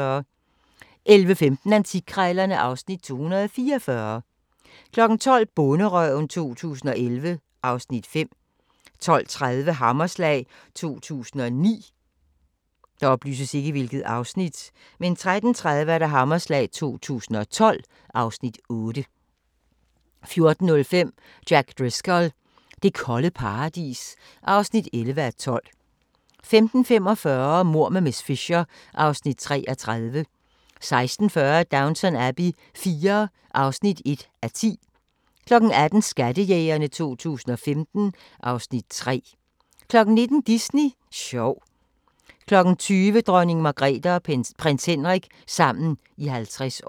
11:15: Antikkrejlerne (Afs. 244) 12:00: Bonderøven 2011 (Afs. 5) 12:30: Hammerslag 2009 13:30: Hammerslag 2012 (Afs. 8) 14:05: Jack Driscoll – det kolde paradis (11:12) 15:45: Mord med miss Fisher (Afs. 33) 16:40: Downton Abbey IV (1:10) 18:00: Skattejægerne 2015 (Afs. 3) 19:00: Disney sjov 20:00: Dronning Margrethe og prins Henrik – sammen i 50 år